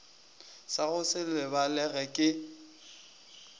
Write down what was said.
sa go se lebalege ke